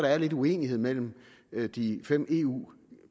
er lidt uenighed mellem de fem eu